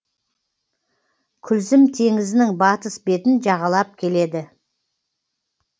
күлзім теңізінің батыс бетін жағалап келеді